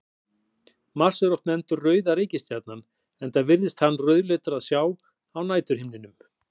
Mars er oft nefndur rauða reikistjarnan enda virðist hann rauðleitur að sjá á næturhimninum.